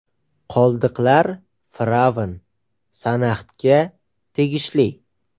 Qoldiqlar fir’avn Sanaxtga tegishli.